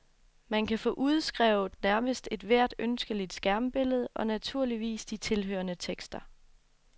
Man kan få udskrevet nærmest ethvert ønskeligt skærmbillede, og naturligvis de tilhørende tekster.